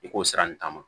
I k'o sira nin ta ma